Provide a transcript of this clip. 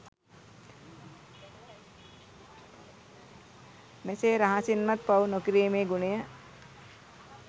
මෙසේ රහසින්වත් පව් නොකිරීමේ ගුණය